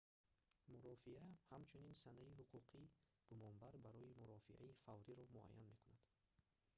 мурофиа ҳамчунин санаи ҳуқуқи гумонбар барои мурофиаи фавриро муайян мекунад